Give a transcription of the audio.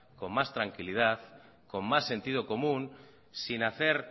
con más tranquilidad con más sentido común sin hacer